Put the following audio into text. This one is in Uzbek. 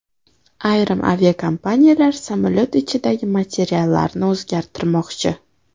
Ayrim aviakompaniyalar samolyot ichidagi materiallarni o‘zgartirmoqchi.